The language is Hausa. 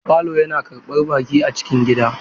Falo yana karɓar baƙi a cikin gida.